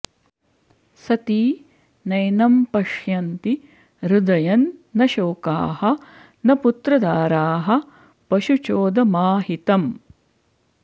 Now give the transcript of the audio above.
सती नैनं पश्यन्ति हृदयं न शोकाः न पुत्रदाराः पशुचोदमाहितम्